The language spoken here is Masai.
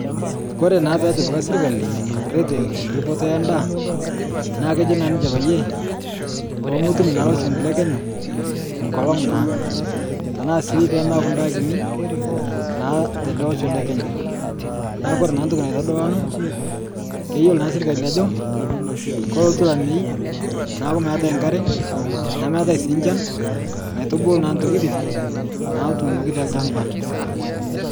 Kore naa peetipika srkali reteni ripoto endaa, naa kejo naa ninche payie, poomotum naa loshon le Kenya nkolong' naa. Tanaa sii pemeaku ndaa kini naa tale osho le Kenya naaku kore naa ntoki naitodolu ana keyiolo naa sirkali ajo kolotu lamei naaku meate nkare nemeetai sii nchan naitubulu naa ntokitin naatunoki te lchamba.